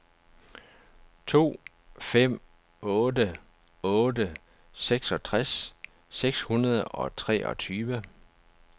to fem otte otte seksogtres seks hundrede og treogtyve